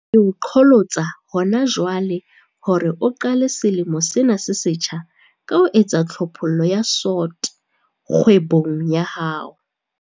Ke o qholotsa hona jwale hore o qale selemo sena se setjha ka ho etsa tlhophollo ya SWOT kgwebong ya hao.